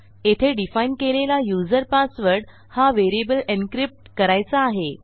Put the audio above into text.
येथे डिफाईन केलेला user password हा व्हेरिएबलencrypt करायचा आहे